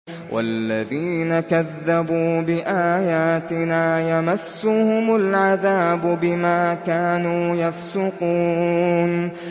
وَالَّذِينَ كَذَّبُوا بِآيَاتِنَا يَمَسُّهُمُ الْعَذَابُ بِمَا كَانُوا يَفْسُقُونَ